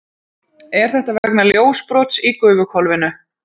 Er þetta vegna ljósbrots í gufuhvolfinu?